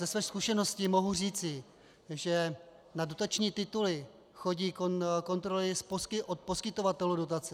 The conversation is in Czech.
Ze své zkušenosti mohu říci, že na dotační tituly chodí kontroly od poskytovatelů dotace.